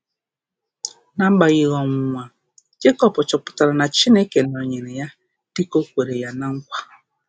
N’agbanyeghị ọnwụnwa, Jekọb chọpụtara na Chineke nọnyeere ya dị ka o kwere ya na nkwa.